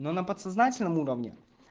но на подсознательном уровне